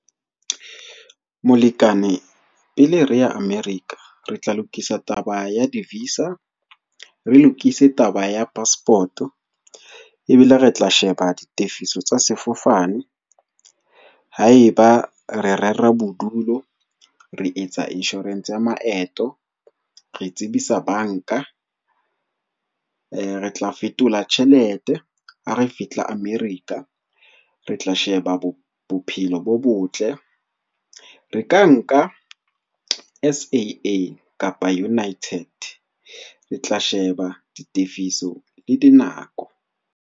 Molekane, pele re ya America re tla lokisa taba ya di-visa, re lokise taba ya passport-o, ebile re tla sheba ditefiso tsa sefofane haeba re rera bodulo. Re etsa insurance ya maeto, re tsebisa banka, re tla fetola tjhelete ha re fihla America re tla sheba bo bophelo bo botle. Re ka nka S_A_A kapa United re tla sheba ditefiso le dinako.